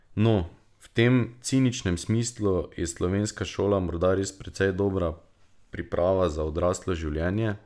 No, v tem ciničnem smislu je slovenska šola morda res precej dobra priprava za odraslo življenje.